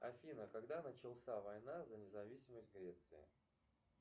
афина когда начался война за независимость греции